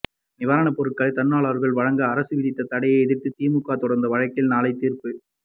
நிவாரணப் பொருட்களை தன்னார்வலர்கள் வழங்க அரசு விதித்த தடையை எதிர்த்து திமுக தொடர்ந்த வழக்கில் நாளை தீர்ப்பு